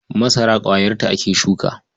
Masara ƙwayarta ake shuka.